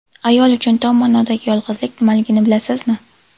Ayol uchun tom ma’nodagi yolg‘izlik nimaligini bilasizmi?